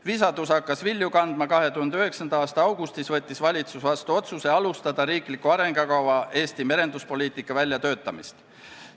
Visadus hakkas vilju kandma, 2009. aasta augustis võttis valitsus vastu otsuse alustada riikliku arengukava "Eesti merenduspoliitika" väljatöötamist.